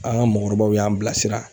An ka mɔgɔkɔrɔbaw y'an bilasira